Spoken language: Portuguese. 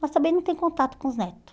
Mas também não tem contato com os netos.